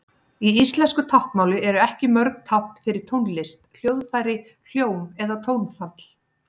Í íslensku táknmáli eru ekki mörg tákn fyrir tónlist, hljóðfæri, hljóm eða tónfall.